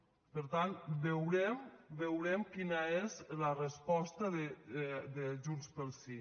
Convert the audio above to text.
per tant veurem veurem quina és la resposta de junts pel sí